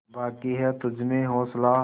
बाक़ी है तुझमें हौसला